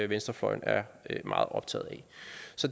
venstrefløjen er meget optaget af